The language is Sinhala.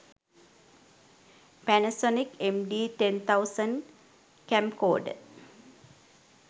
pannasonic md 10000 camcorder